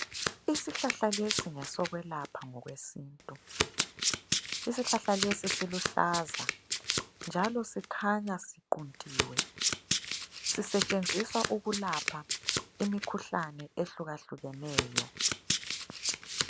Isihlahla lesi ngesokwelapha ngokwesintu. Isihlahla lesi siluhlaza njalo sikhanya siquntiwe ,sisetshenziswa ukulapha imikhuhlane ehlukahlukeneyo.